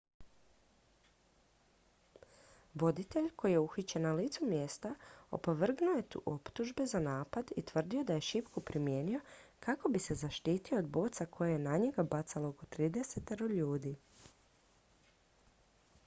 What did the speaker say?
voditelj koji je uhićen na licu mjesta opovrgnuo je optužbe za napad i tvrdio da je šipku primijenio kako bi se zaštitio od boca koje je na njega bacalo oko tridesetero ljudi